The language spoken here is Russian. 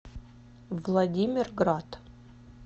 владимирград